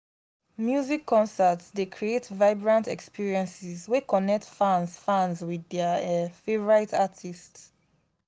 music concerts dey create vibrant experiences wey connect fans fans with their um favorite artists.